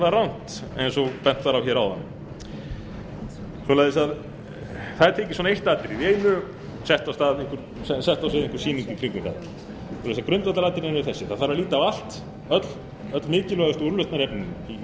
var náttúrlega alrangt það var einfaldlega rangt eins og bent var á áðan það er tekið eitt atriði í einu og sett á svið einhver sýning í kringum það grundvallaratriðin eru þessi það þarf að líta á öll mikilvægustu úrlausnarefnin í